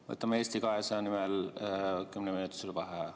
Võtame Eesti 200 nimel kümneminutise vaheaja.